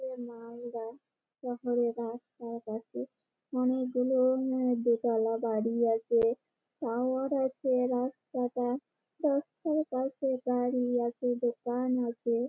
এ মালদা শহরের রাস্তার পাশে অনেকগুলো উম দোতলা বাড়ি আছে টাওয়ার আছে রাস্তাটা। রাস্তার পাশে বাড়ি আছে দোকান আছে--